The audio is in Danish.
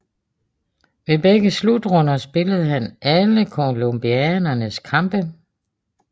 Ved begge slutrunder spillede han alle colombianernes kampe